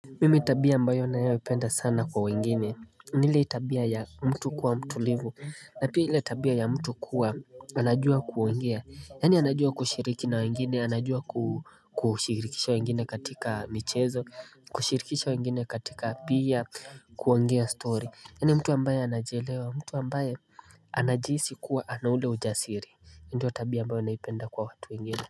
Mimi tabia ambayo ninayopenda sana kwa wengine ni ile tabia ya mtu kuwa mtulivu na pia ile tabia ya mtu kuwa anajua kuongea, yani anajua kushiriki na wengine anajua kushirikisha wengine katika michezo, kushirikisha wengine katika pia kuongea stori, yani mtu ambaye anajielewa mtu ambaye anajihisi kuwa anaule ujasiri ndio tabia ambayo naipenda kwa watu wengine.